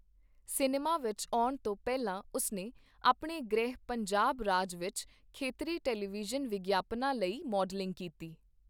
Cinema ਵਿੱਚ ਆਉਣ ਤੋਂ ਪਹਿਲਾਂ, ਉਸਨੇ ਆਪਣੇ ਗ੍ਰਹਿ ਪੰਜਾਬ ਰਾਜ ਵਿੱਚ ਖੇਤਰੀ ਟੈਲੀਵਿਜ਼ਨ ਵਿਗਿਆਪਨਾਂ ਲਈ ਮਾਡਲਿੰਗ ਕੀਤੀ।